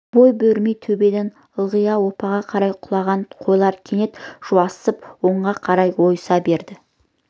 бой бермей төбеден ылдиға оппаға қарай құлаған қойлар кенет жуасып оңға қарай ойыса берді